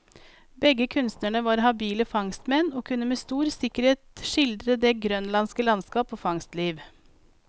Begge kunstnerne var habile fangstmenn, og kunne med stor sikkerhet skildre det grønlandske landskap og fangstliv.